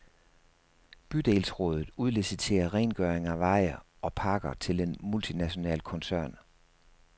Bydelsrådet udliciterer rengøring af veje og parker til en multinational koncern.